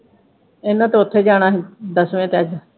ਇਨ੍ਹਾਂ ਤੇ ਉਥੇ ਜਾਣਾ ਹੀ ਦੱਸਵੇਂ ਤੇਅੱਜ